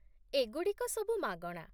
ଏଗୁଡ଼ିକ ସବୁ ମାଗଣା